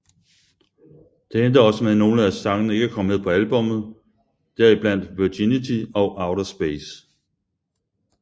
Det endte også med nogle af sangene ikke kom med på albummet der i blandt Virginity og Outer Space